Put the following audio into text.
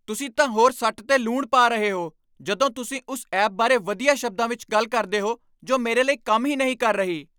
ਤੁਸੀਂ ਤਾਂ ਹੋਰ ਸੱਟ 'ਤੇ ਲੂਣ ਪਾ ਰਹੇ ਹੋ ਜਦੋਂ ਤੁਸੀਂ ਉਸ ਐਪ ਬਾਰੇ ਵਧੀਆ ਸ਼ਬਦਾਂ ਵਿੱਚ ਗੱਲ ਕਰਦੇ ਹੋ ਜੋ ਮੇਰੇ ਲਈ ਕੰਮ ਹੀ ਨਹੀਂ ਕਰ ਰਹੀ।